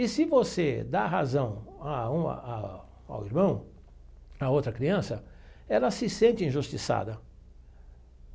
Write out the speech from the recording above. E se você dá razão a um a ao irmão, a outra criança, ela se sente injustiçada.